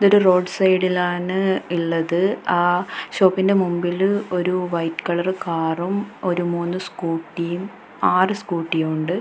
ഇതൊരു റോഡ് സൈഡിലാണ് ഇള്ളത് ആ ഷോപ്പിൻ്റെ മുമ്പില് ഒരു വൈറ്റ് കളറ് കാറും ഒരു മൂന്ന് സ്കൂട്ടിയും ആറ് സ്കൂട്ടിയും ഉണ്ട്.